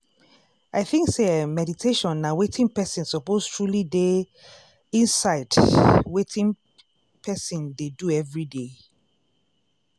i think say eeh meditation na wetin person suppose truely dey inside wetin person dey do everyday.